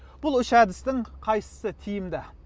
бұл үш әдістің қайсысы тиімді